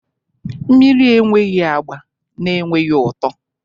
mmiri enweghị agba na enweghị ụtọ